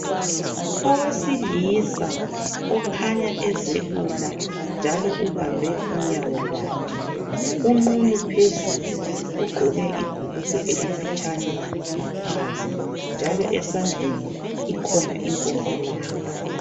Owesilisa okhanya ezelula njalo ubambe unyawo lwakhe. Unqunu phezulu ugqoke ibhulugwe elifitshane ngaphansi njalo esandleni ikhona inkombalanga.